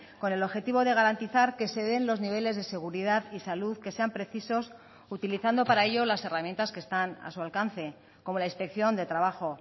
con el objetivo de garantizar que se den los niveles de seguridad y salud que sean precisos utilizando para ello las herramientas que están a su alcance como la inspección de trabajo